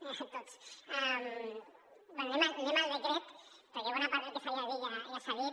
bé anem al decret perquè bona part del que s’havia de dir ja s’ha dit